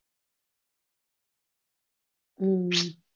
હમ